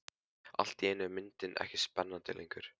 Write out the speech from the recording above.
Allt í einu er myndin ekki spennandi lengur.